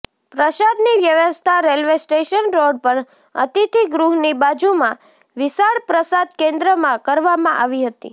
પ્રસાદની વ્યવસ્થા railway station road પર અતિથિ ગૃહની બાજુમાં વિશાળ પ્રસાદ કેન્દ્રમાં કરવામા આવી હતી